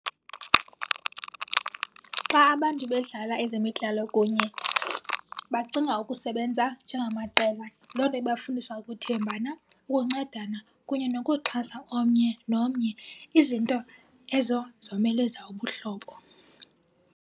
Xa abantu bedlala ezemidlalo kunye bacinga ukusebenza njengamaqela. Loo nto ibafundisa ukuthembana, ukuncedana kunye nokuxhasa omnye nomnye, izinto ezo zomeleza ubuhlobo.